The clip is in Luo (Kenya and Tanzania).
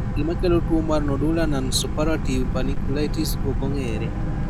Gima kelo tuwo mar nodular nonsuppurative panniculitis ok ong'ere.